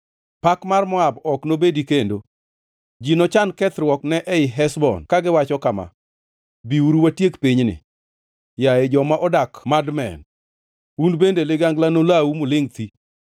Pak mar Moab ok nobedi kendo; ji nochan kethruokne ei Heshbon kagiwacho kama: ‘Biuru, watiek pinyni.’ Yaye joma odak Madmen, un bende ligangla nolawu mulingʼ thii.